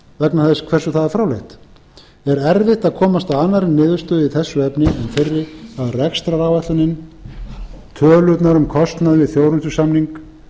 vegna þess hversu það er fráleitt er erfitt að komast að annarri niðurstöðu í þessu efni en þeirri að rekstraráætlunin tölurnar um kostnað við þjónustusamning